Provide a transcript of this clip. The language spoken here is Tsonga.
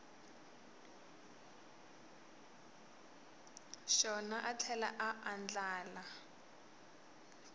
xona a tlhela a andlala